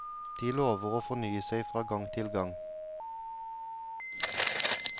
De lover å fornye seg fra gang til gang.